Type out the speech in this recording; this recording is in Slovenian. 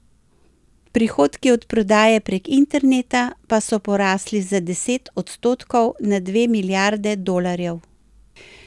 Prihodki od prodaje prek interneta pa so porasli za deset odstotkov na dve milijarde dolarjev.